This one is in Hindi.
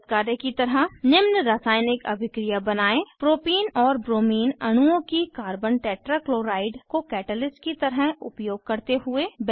एक नियत कार्य की तरह निम्न रासायनिक अभिक्रिया बनायें 1प्रोपीन और ब्रोमीन अणुओं की कार्बन टेट्रा क्लोराइड को कैटलिस्ट की तरह उपयोग करते हुए